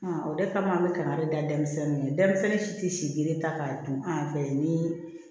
o de kama an bɛ kaba de da denmisɛnnin ma denmisɛnnin si tɛ sidi ta k'a dun an fɛ ni